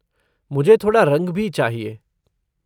मुझे थोड़ा रंग भी चाहिए।